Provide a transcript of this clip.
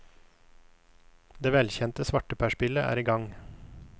Det velkjente svarteperspillet er i gang.